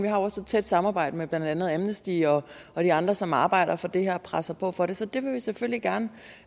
har også et tæt samarbejde med blandt andet amnesty og og de andre som arbejder for det her og presser på for det så det vil vi selvfølgelig gerne